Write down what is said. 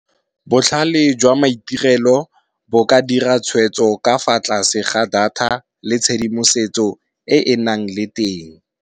Botlhale jwa maitirelo, bo ka dira tshwetso ka fa tlase ga data le tshedimosetso e e nang le teng.